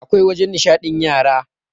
awkai wajen nishaɗin yara